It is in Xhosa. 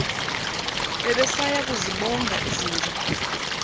bebesaya kuzibonga izinja